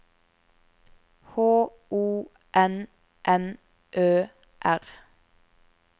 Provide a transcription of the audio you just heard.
H O N N Ø R